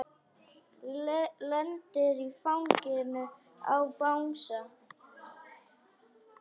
Lendir í fanginu á bangsa.